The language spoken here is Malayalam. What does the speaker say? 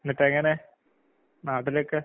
എന്നിട്ടെങ്ങനെ നാട്ടിലൊക്കെ?